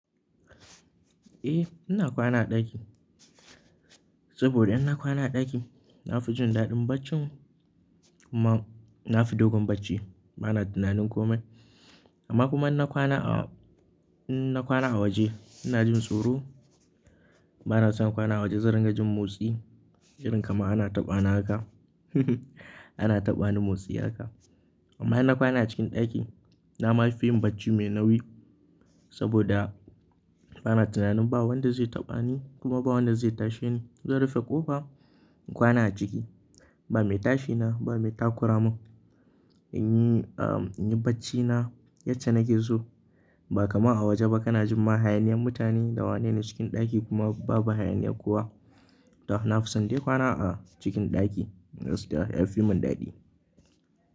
Eh, ina kwana a ɗaki. Sabida in na kwana a ɗaki, nafi jin daɗin barcin kuma nafi dogon bacci. Ba na tunanin komai. Amma kuma in na kwana a, in na kwana a waje, ina jin tsoro. Ba na son kwana a waje zan ringa jin motsi, irin kamar ana taɓani haka, ana taɓa ni motsi haka. Amma in na kwana a cikin ɗaki, na ma fi yin bacci mai nauyi sabida ba na tunanin ba wanda zai taɓa ni kuma ba wanda zai tashi ni. Zan rufe ƙofa, in kwana a ciki. Ba mai tashi na, ba mai takura mun. In yi, in yi bacci na yacce nake so. Ba kamar a waje ba kana jin ma hayaniyar mutane da wanene, cikin ɗaki kuma babu hayaniyar kowa. To, na fi son dai kwana a cikin ɗaki. Gaskiya ya fi mun daɗi.